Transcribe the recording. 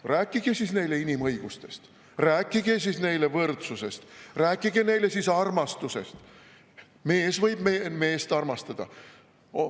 Ja rääkige siis neile inimõigustest, rääkige siis neile võrdsusest, rääkige siis neile armastusest, et mees võib meest armastada.